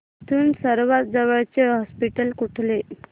इथून सर्वांत जवळचे हॉस्पिटल कुठले